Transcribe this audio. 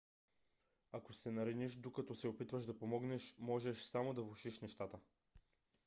ако се нараниш докато се опитваш да помогнеш може само да влошиш нещата